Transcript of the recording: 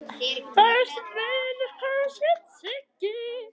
Besti vinur hans hét Siggi.